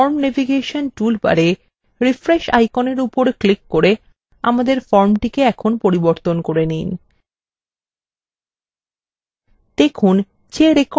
নীচের form navigation toolbarএ refresh আইকনের উপর ক্লিক করে আমাদের ফর্মটিকে এখন পরিবর্তন করে নিন